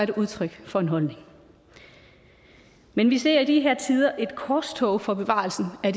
det udtryk for en holdning men vi ser i de her tider et korstog for bevarelsen af